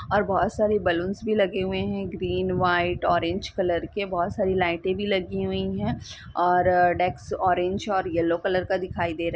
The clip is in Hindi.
और बोहोत सारे बलूंस भी लगे हुए हैं ग्रीन व्हाइट ऑरेंज कलर के बोहोत सारी लाइटे भी लगी हुई है और डेक्स ऑरेंज और येलो कलर का दिखाई दे रहा--